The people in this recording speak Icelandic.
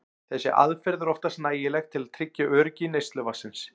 Þessi aðferð er oftast nægileg til að tryggja öryggi neysluvatnsins.